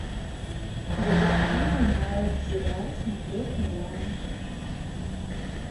детективы на р сериал смотреть онлайн